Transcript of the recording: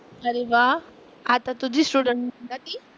अरे वा. आता तुझी स्टुडंट का ती?